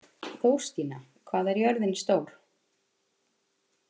Þórstína, hvað er jörðin stór?